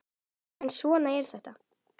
En svona er þetta.